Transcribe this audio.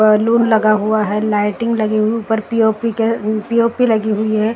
Balloon लगा हुआ हैं लाइटिंग लगी हुई ऊपर पी ओ पी के पी ओ पी लगी हुयी हैं।